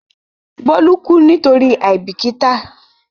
Bólú kú nítorí àìbìkítà.